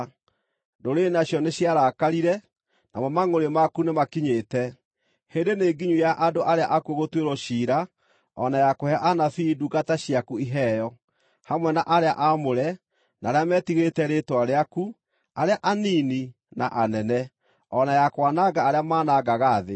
Ndũrĩrĩ nacio nĩciarakarire; namo mangʼũrĩ maku nĩmakinyĩte. Hĩndĩ nĩnginyu ya andũ arĩa akuũ gũtuĩrwo ciira, o na ya kũhe anabii, ndungata ciaku, iheo, hamwe na arĩa aamũre, na arĩa metigĩrĩte rĩĩtwa rĩaku, arĩa anini na anene, o na ya kwananga arĩa manangaga thĩ.”